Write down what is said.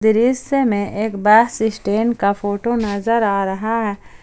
दृश्य में एक बस स्टैंड का फोटो नजर आ रहा है।